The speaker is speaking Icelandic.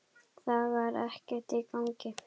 Það var ekkert í gangi.